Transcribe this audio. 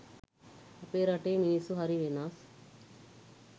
අපේ රටේ මිනිස්සු හරි වෙනස්